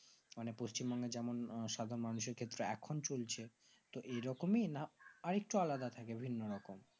মানে পচিমবঙ্গের যেমন সাধারণ মানুষের ক্ষেত্রে এখন চলছে তো এই রকমই না আরেকটু আলাদা থাকে বিভিন্ন রকম